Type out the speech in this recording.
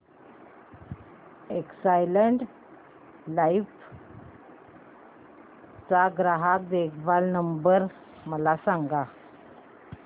Exide life चा ग्राहक देखभाल नंबर मला सांगा